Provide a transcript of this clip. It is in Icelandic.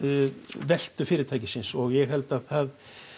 veltu fyrirtækisins og ég held að það